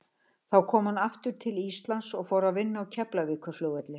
Þá kom hann aftur til Íslands og fór að vinna á Keflavíkurflugvelli.